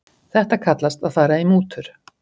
Þetta kallast að fara í mútur.